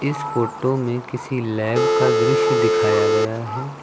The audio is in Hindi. इस फोटो में किसी लैब का दृश्य दिखाया गया है।